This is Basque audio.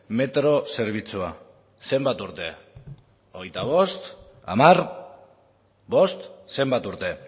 metro zerbitzua zenbat urte hogeita bost hamar bost zenbat urte